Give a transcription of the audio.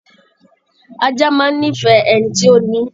Ajá máa ń nífẹ̀ẹ́ ẹni tí ó ni ín